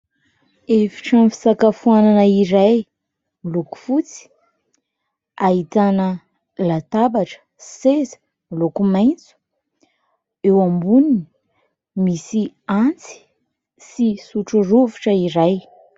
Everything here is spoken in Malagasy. Efitrano fisakafoana iray miloko fotsy. Ahitana latabatra, seza miloko maitso. Eo amboniny misy antsy sy sotro rovitra iray.